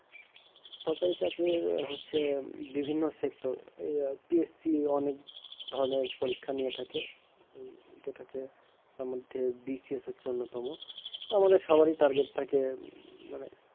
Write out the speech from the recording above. সরকারি চাকরি হচ্ছে বিভিন্ন sector এই UPSC অনেক ধরনের পরীক্ষা নিয়ে থাকে যেটা হচ্ছে তার মধ্যে BCS হচ্ছে অন্যতম। আমাদের সবারই target থাকে মানে,